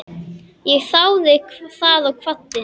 Ég þáði það og kvaddi.